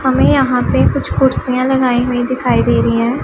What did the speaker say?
हमें यहां पे कुछ कुर्सियां लगाईं हुईं दिखाईं दे रहीं हैं।